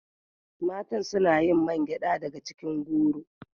Matan suna yin man gyada daga cikin goro